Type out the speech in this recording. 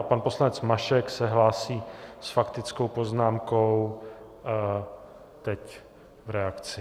A pan poslanec Mašek se hlásí s faktickou poznámkou teď v reakci.